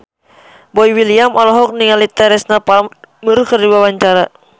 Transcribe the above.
Boy William olohok ningali Teresa Palmer keur diwawancara